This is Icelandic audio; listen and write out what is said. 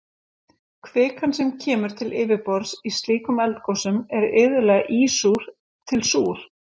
kvikan sem kemur til yfirborðs í slíkum eldgosum er iðulega ísúr til súr